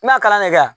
N'a kalan na ɲɛ kɛ